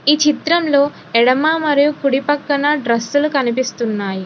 ఈ చిత్రంలో ఎడమ మరియు కుడి పక్కన డ్రస్సులు కనిపిస్తున్నాయి.